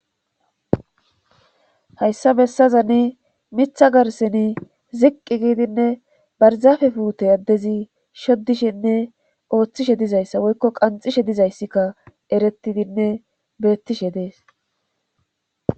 Hayssa bessazane mitha garsseni ziqqi giidinne barizafe puute addezi shoddishenne ooththishe dizay issa woykko qanxishe diza issikka erettidinne beettishe dees.